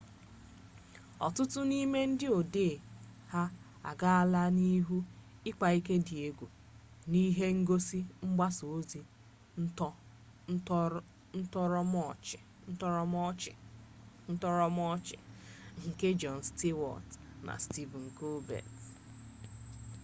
ọtụtụ n'ime ndị odee ha agaala n'ihu ịkpa ike di egwu n'ihe ngosi mgbasa ọzi ntọrọmọchị nke jon stewart na stephen colbert